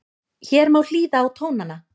Hér má hlýða á tónana